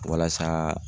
Walasa